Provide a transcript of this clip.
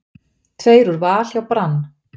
Tveir úr Val hjá Brann